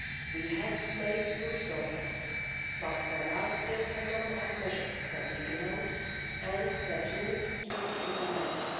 We have made good progress but there are still a number of measures that we announced and that need to be implemented.